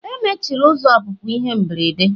Emechiri ụzọ ọpụpụ ihe mberede.